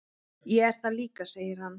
"""Ég er það líka, segir hann."""